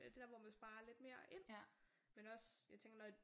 Det der hvor man sparer lidt mere ind men også jeg tænker når